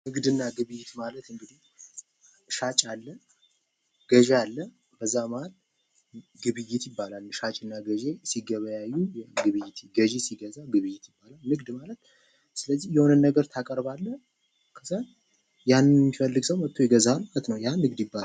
ንግድና ግብይት ማለት እንግዲህ ሻጭ አለ ገዢ አለ በዛ መሃል ግብይት ይባላል። ሻጭና ገዢ ሲገበያዩ ገዢ ሲገዛ ስለዚህ የሆነ ነገር ታቀርባለህ ያን የሚፈልግ ሰው መጥቶ ይገዛል ማለት ነው። ይህ ንግድ ይባላል።